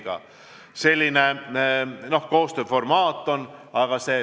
Oli selline koostööformaat.